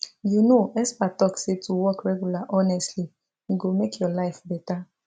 you know experts talk say to walk regular honestly e go make your life better